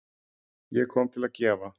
Ég kom til að gefa.